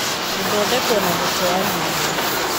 Gũthondekwo na gũteanĩrio